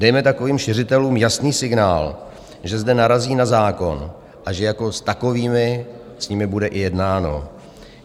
Dejme takovým šiřitelům jasný signál, že zde narazí na zákon a že jako s takovými s nimi bude i jednáno.